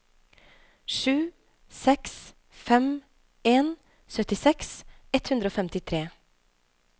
sju seks fem en syttiseks ett hundre og femtitre